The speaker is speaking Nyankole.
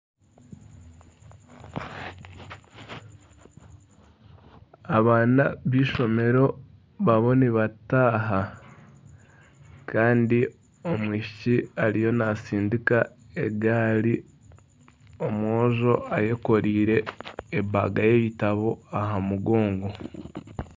Abaana b'eishomero bariyo nibataaha kandi omwishiki ariyo natsindika egaari, omwojo ayekoreire baga y'ebitabo aha mugongo.